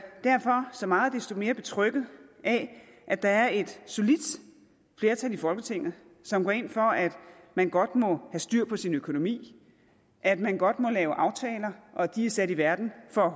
så meget desto mere betrygget af at der er et solidt flertal i folketinget som går ind for at man godt må have styr på sin økonomi at man godt må lave aftaler og at de er sat i verden for at